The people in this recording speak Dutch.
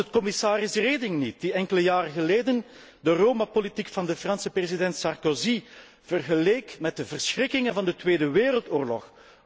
Was het niet commissaris Reding die enkele jaren geleden de Roma politiek van de Franse president Sarkozy vergeleek met de verschrikkingen van de Tweede Wereldoorlog?